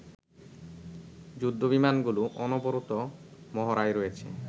যুদ্ধ বিমানগুলো অনবরত মহড়ায় রয়েছে